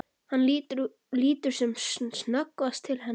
Hann lítur sem snöggvast til hennar.